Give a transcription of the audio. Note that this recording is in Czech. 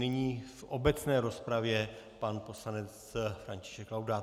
Nyní v obecné rozpravě pan poslanec František Laudát.